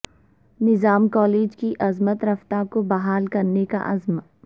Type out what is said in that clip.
نظام کالج کی عظمت رفتہ کو بحال کرنے کا عزم